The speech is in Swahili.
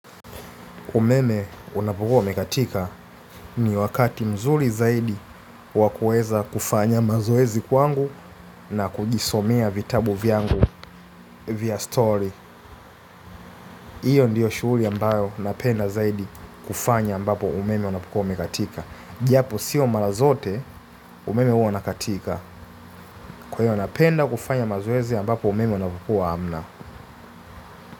Umeme unapukua umekatika ni wakati mzuri zaidi wa kuweza kufanya mazoezi kwangu na kujisomea vitabu vyangu vya story. Iyo ndiyo shughuli ambayo napenda zaidi kufanya ambapo umeme unapokua umekatika. Japo siyo mara zote umeme huwa unakatika kwahiyo napenda kufanya mazoezi ambapo umeme unapokua hamna.